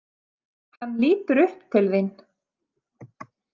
Hann lítur upp til þín.